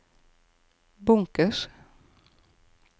bunkers